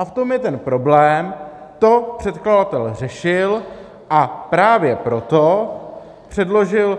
A v tom je ten problém, to předkladatel řešil, a právě proto předložil